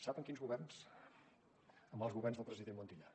sap en quins governs amb els governs del president montilla